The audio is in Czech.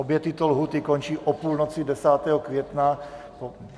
Obě tyto lhůty končí o půlnoci 10. května.